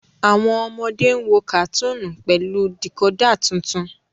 wón ọmọde ń wò katuni pẹlú decoder títún.